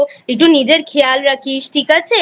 একটু নিজের খেয়াল রাখিস ঠিক আছে?